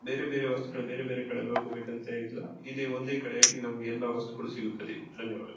ಬೇರೆ ಬೇರೆ ವಸ್ತುಗಳು ಬೇರೆ ಬೇರೆ ಕಡೆ ಹೋಗ್ಬೇಕಂತ ಇಲ್ಲ ಇದೆ ಒಂದೇ ಕಡೆಯಲ್ಲಿ ನಮಗೆ ಎಲ್ಲ ವಸ್ತುಗಳು ಸಿಗುತದ್ದೆ ಧನ್ಯವಾದಗಳು.